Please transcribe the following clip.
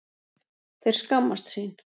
Þeir skammast sín